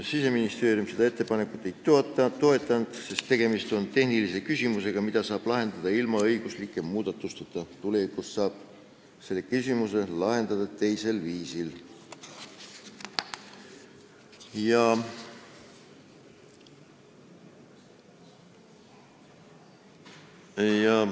Siseministeerium seda ettepanekut ei toetanud, sest tegemist on tehnilise küsimusega, mida saab lahendada ilma õiguslike muudatusteta, tulevikus saab selle küsimuse lahendada teisel viisil.